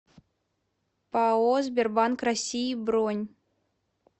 пао сбербанк россии бронь